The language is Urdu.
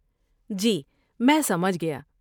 جی میں سمجھ گیا۔